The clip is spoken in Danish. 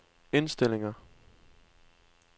indstillinger